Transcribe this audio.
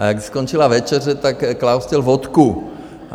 A když skončila večeře, tak Klaus chtěl vodku.